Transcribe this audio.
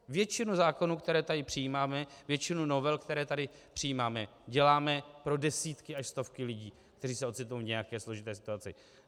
Většinu zákonů, které tady přijímáme, většinu novel, které tady přijímáme, děláme pro desítky až stovky lidí, kteří se ocitnou v nějaké složité situaci.